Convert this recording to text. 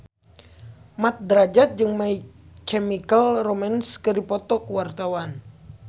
Mat Drajat jeung My Chemical Romance keur dipoto ku wartawan